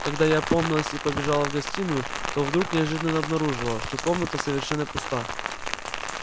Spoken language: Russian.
когда я опомнилась и побежала в гостиную то вдруг неожиданно обнаружила что комната совершенно пуста